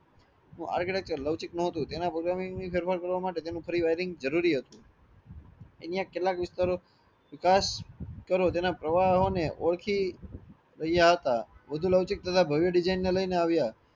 Architecture લૌચિક નો હતું તેના programming ની સારવાર કરવા માટે તેનું જરૂરી હતું કેટલાક વિસ્તારો વિકાસ કરો તેના પ્રવાહો ને ઓળખી ગયા હતા વધુ લૌચિક તથા design લયીને આવ્યા